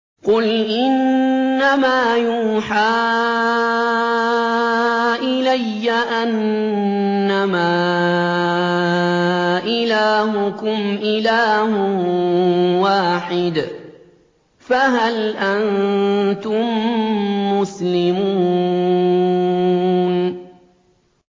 قُلْ إِنَّمَا يُوحَىٰ إِلَيَّ أَنَّمَا إِلَٰهُكُمْ إِلَٰهٌ وَاحِدٌ ۖ فَهَلْ أَنتُم مُّسْلِمُونَ